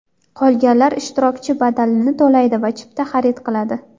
Qolganlar ishtirokchi badalini to‘laydi yoki chipta xarid qiladi.